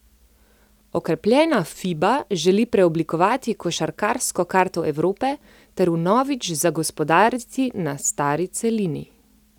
Okrepljena Fiba želi preoblikovati košarkarsko karto Evrope ter vnovič zagospodariti na stari celini.